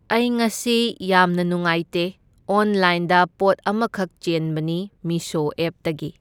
ꯑꯩ ꯉꯁꯤ ꯌꯥꯝꯅ ꯅꯨꯡꯉꯥꯏꯇꯦ, ꯑꯣꯟꯂꯥꯏꯟꯗ ꯄꯣꯠ ꯑꯃꯈꯛ ꯆꯦꯟꯕꯅꯤ ꯃꯤꯁꯣ ꯑꯦꯞꯇꯒꯤ꯫